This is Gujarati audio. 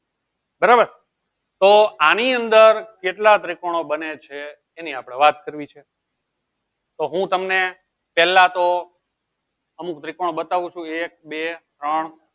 બરોબર તો આની અંદર કેટલા ત્રિકોણ બને છે એની આપળે વાત કરવી છે તો હું તમને પેહલા તો અમુક ત્રિકોણ બતાવું છું એક બે ત્રણ